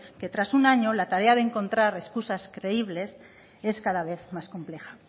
que tras un año la tarea de encontrar escusas creíbles es cada vez más compleja